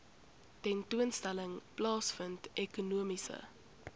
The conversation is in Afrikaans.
tentoonstelling plaasvind ekonomiese